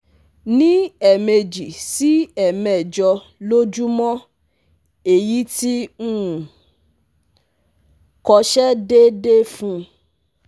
Ni emeje si emejo lojumo eyi ti um ko se deede fun